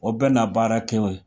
O bɛ na baara kɛ o ye